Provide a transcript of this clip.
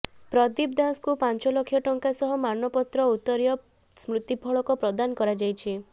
ପ୍ରଦୀପ ଦାଶଙ୍କୁ ପାଞ୍ଚ ଲକ୍ଷ ଟଙ୍କା ସହ ମାନପତ୍ର ଉତ୍ତରୀୟ ସ୍ମୃତିଫଳକ ପ୍ରଦାନ କରାଯାଇଛି